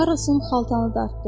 Karrosun xaltanı dartdı.